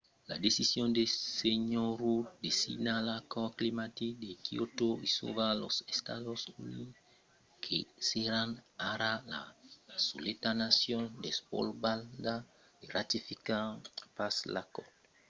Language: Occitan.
la decision de sr. rudd de signar l'acòrd climatic de kyoto isòla los estats units que seràn ara la soleta nacion desvolopada a ratificar pas l'acòrd